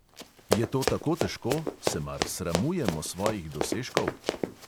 Je to tako težko, se mar sramujemo svojih dosežkov?